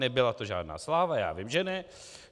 Nebyla to žádná sláva, já vím, že ne.